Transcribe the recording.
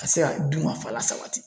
Ka se ka dunkafa lasabati .